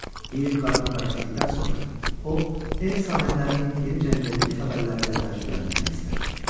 Yeyib qarnını bərkitdikdən sonra o, ev sahiblərini yeni cəngəllik xəbərləri ilə təəccübləndirmək istədi.